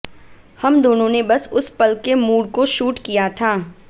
हम दोनों ने बस उस पल के मूड को शूट किया था